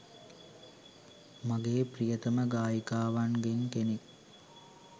මගේ ප්‍රියතම ගායිකාවන්ගෙන් කෙනෙක්